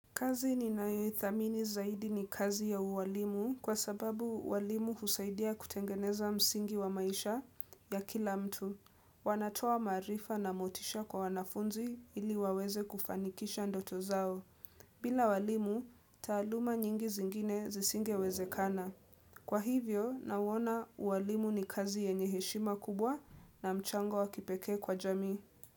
Kazi ninayoithamini zaidi ni kazi ya uwalimu kwa sababu uwalimu husaidia kutengeneza msingi wa maisha ya kila mtu. Wanatoa maarifa na motisha kwa wanafunzi ili waweze kufanikisha ndoto zao. Bila walimu, taaluma nyingi zingine zisingewezekana. Kwa hivyo, nauona uwalimu ni kazi yenye heshima kubwa na mchango wakipekee kwa jamii.